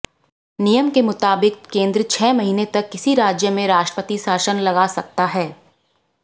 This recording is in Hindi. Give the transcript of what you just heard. नियम के मुताबिक केंद्र छह महीने तक किसी राज्य में राष्ट्रपति शासन लगा सकता है